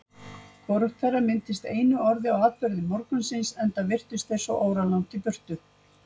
Hvorugt þeirra minntist einu orði á atburði morgunsins, enda virtust þeir svo óralangt í burtu.